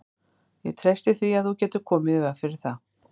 Ég treysti því, að þú getir komið í veg fyrir það